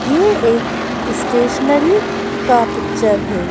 ये एक स्टेशनरी का पिक्चर है।